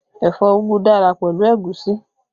Ẹ̀fọ́ úgú dára pẹ̀lú ẹ̀gúsí